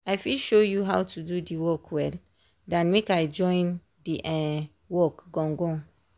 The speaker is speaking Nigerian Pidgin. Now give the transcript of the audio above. i fit show you how to do the work well dan make i join the um work gan gan.